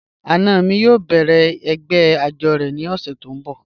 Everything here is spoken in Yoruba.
Ana mi yóò bẹ̀rẹ̀ ẹ̀gbẹ́ ajọ̀ ni ọṣẹ̀ ti ǹ bọ̀